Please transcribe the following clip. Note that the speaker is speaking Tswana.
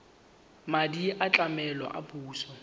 madi a tlamelo a puso